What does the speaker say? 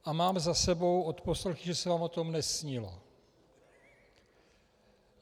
A mám za sebou odposlechy, že se vám o tom nesnilo.